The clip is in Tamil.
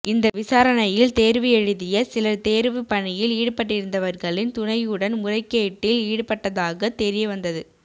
இந்த விசாரணையில் தேர்வு எழுதிய சிலர் தேர்வு பணியில் ஈடுபட்டிருந்தவர்களின் துணையுடன் முறைகேட்டில் ஈடுபட்டதாக தெரிய வந்தது